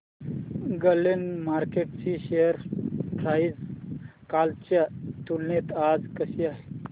Glenmark ची share price कालच्या तुलनेत आज कशी आहे